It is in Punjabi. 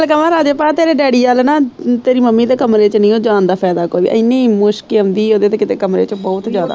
ਇੱਕ ਗੱਲ ਕਵਾ ਰਾਜੇ ਭਾਅ ਤੇਰੇ ਡੈਡੀ ਅੱਲ ਨਾ ਤੇਰੀ ਮੰਮੀ ਦੇ ਕਮਰੇ ਨੀ ਓ ਜਾਣ ਦਾ ਫਾਈਦਾ ਕੋਈ ਇੰਨੀ ਮੁਸ਼ਕ ਆਉਂਦੀ ਓਦੇ ਤੇ ਕਿਤੇ ਕਮਰੇ ਚੋਂ ਬਹੁਤ ਜਿਆਦਾ।